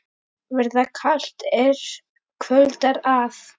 Verða kalt, er kvöldar að.